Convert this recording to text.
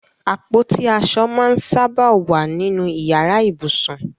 Apoti aso maa n saba wa ninu iyara ibusun